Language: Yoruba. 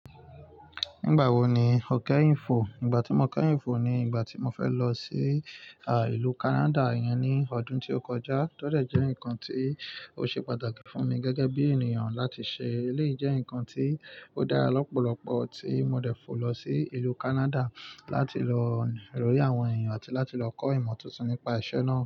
Nígbà wo ni o kẹ́yin fo? Nígbà tí mo kẹ́yin fo ni ìgbà tí mo fẹ́ lọ sí ìlú Canada yẹn ní ọdún tí ó kọjá. To de jẹ́ nǹkan tí ó ṣe pàtàkì fún mi gẹ́gẹ́ bí ènìyàn láti ṣe. Eleyii jẹ́ nǹkan tí ó dára lọ́pọ̀lọ́pọ̀ tí mo dẹ fó lọ sí ìlú Canada láti lọ rí àwọn èèyàn àti láti lọ kọ́ ìmọ̀ tuntun nípa ìṣe náà.